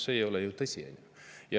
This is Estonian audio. See ei ole ju tõsi.